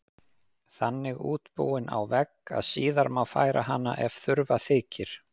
Þannig útbúin á vegg að síðar má færa hana ef þurfa þykir.